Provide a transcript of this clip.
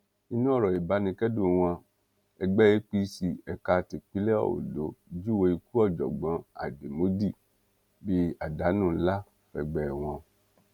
nínú ọrọ ìbánikẹdùn wọn ẹgbẹ apc ẹka tipinlẹ ondo júwe ikú ọjọgbọn àdèmódì bíi àdánù ńlá fẹgbẹ wọn